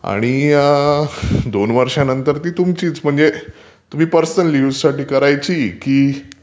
आणि दोन वर्षानंतर ती तुमचीच. म्हणजे तुम्ही पर्सनल युजसाठी करायची की..